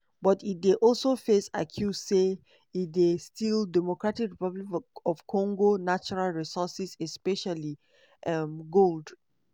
but e dey also face accuse say e dey steal dr congo natural resources especially um gold.